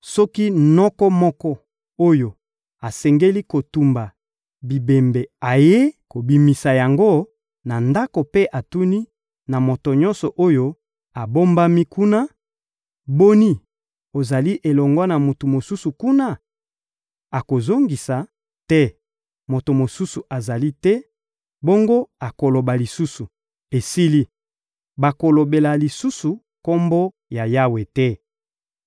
Soki noko moko oyo asengeli kotumba bibembe ayei kobimisa yango na ndako mpe atuni na moto nyonso oyo abombami kuna: — Boni, ozali elongo na moto mosusu kuna? Akozongisa: — Te, moto mosusu azali te! Bongo akoloba lisusu: — Esili! Bakolobela lisusu Kombo ya Yawe te.